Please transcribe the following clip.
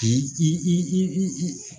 I i i i i i